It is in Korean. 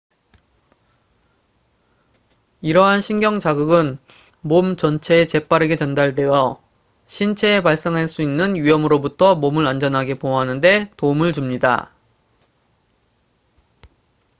이러한 신경 자극은 몸 전체에 재빠르게 전달되어 신체에 발생할 수 있는 위험으로부터 몸을 안전하게 보호하는 데 도움을 줍니다